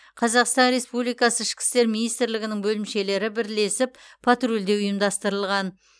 қазақстан республикасы ішкі істер министрлігінің бөлімшелері бірлесіп патрульдеу ұйымдастырылған